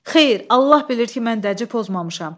Xeyr, Allah bilir ki, mən dəci pozmamışam.